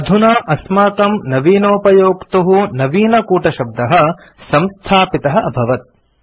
अधुना अस्माकं नवीनोपयोक्तुः नवीनकूटशब्दः संस्थापितः अभवत्